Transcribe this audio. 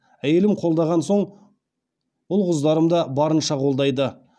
әйелім қолдаған соң ұл қыздарым да барынша қолдайды